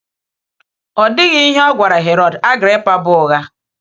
Ọ dịghị ihe ọ gwara Herod Agrippa bụ ụgha.